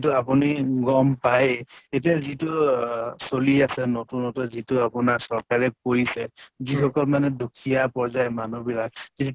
তু আপোনি গম পায়েই এতিয়া যিটো অহ চলি আছে নতুন নতুন যিটো আপোনাৰ চৰকাৰে কৰিছে, যিসকল মানে দুখিয়া পৰ্য়ায়ৰ মানুহ বিলাক যদি